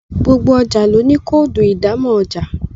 gbogbo ọjà ló ní Kóòdù ìdámọ̀ ọjà